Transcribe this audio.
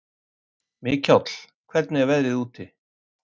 Mikjáll, hvernig er veðrið úti?